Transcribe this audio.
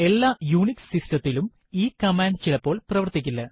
എല്ലാ യുണിക്സ് സിസ്റ്റത്തിലും ഈ കമാൻഡ് ചിലപ്പോൾ പ്രവർത്തിക്കില്ല